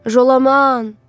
Jolaman!